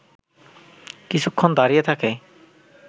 কিছুক্ষণ দাঁড়িয়ে থাকে